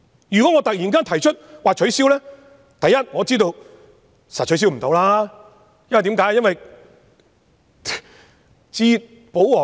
如果我突然提出取消，第一，我知道一定無法取消，為甚麼呢？